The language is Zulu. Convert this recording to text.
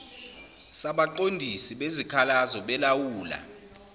sabaqondisi bezikhalazo belawula